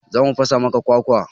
Za mu fasa maka kwakwa.